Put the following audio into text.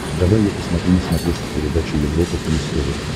давай я посмотрю на смотрешке передачу европа плюс тв